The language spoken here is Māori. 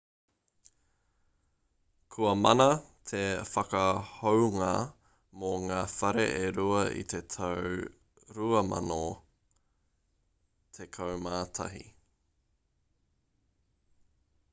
kua mana te whakahounga mō ngā whare e rua i te tau 2011